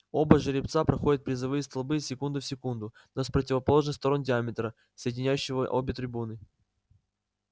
оба жеребца проходят призовые столбы секунда в секунду но с противоположных сторон диаметра соединяющего обе трибуны